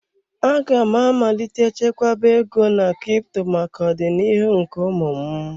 Aga m amalite chekwaba ego na crypto maka ọdịnihu nke ụmụ m.